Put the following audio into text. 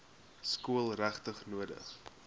skool regtig nodig